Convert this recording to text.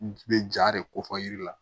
Bɛ ja de ko fɔ yiri la